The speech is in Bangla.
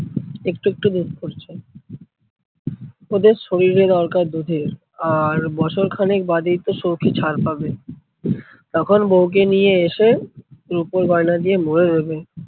একটু একটু দুধ পড়ছে। ওদের শরীরে দরকার দুধের, আর বছর খানেক বাদেই তো সৌখী ছাড় পাবে। তখন বৌকে নিয়ে এসে রুপোর গয়না দিয়ে মুড়ে দেবে।